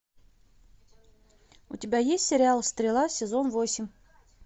у тебя есть сериал стрела сезон восемь